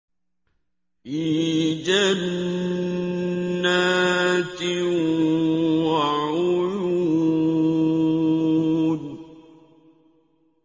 فِي جَنَّاتٍ وَعُيُونٍ